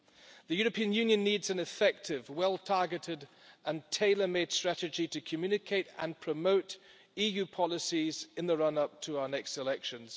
The European Union needs an effective, well targeted and tailor made strategy to communicate and promote EU policies in the run up to our next elections.